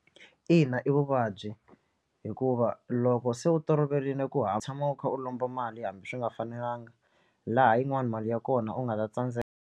Ina i vuvabyi hikuva loko se u toloverile ku ha tshama u kha u lomba mali hambi swi nga fanelanga laha yin'wani mali ya kona u nga ta tsandzeka.